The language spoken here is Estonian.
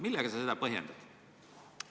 Millega sa seda põhjendad?